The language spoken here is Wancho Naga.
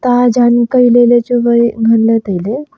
ma kailey ley chu wai nganley tailey.